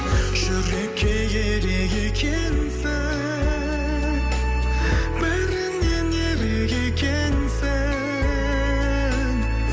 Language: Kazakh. жүрекке керек екенсің бәрінен ерек екенсің